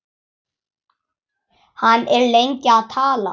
Hann er lengi að tala.